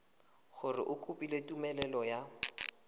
gore o kopile tumelelo ya